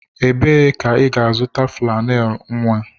Ebee ka ị ga-azụta flannel nwa?